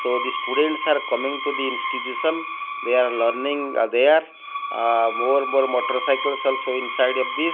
so the students are coming to the institution they are learning ah there ah more more motorcycles also inside of this.